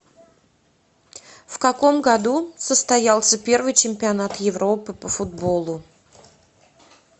в каком году состоялся первый чемпионат европы по футболу